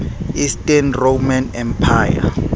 eastern roman empire